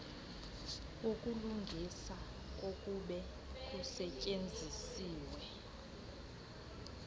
wokulungisa kokube kusetyenzisiwe